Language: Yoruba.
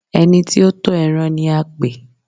ẹni tí ó ń tọ́ ẹran ni a pè?